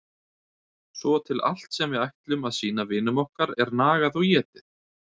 Svo til allt sem við ætlum að sýna vinum okkar er nagað og étið.